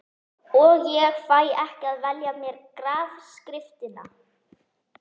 Og ég fæ ekki að velja mér grafskriftina.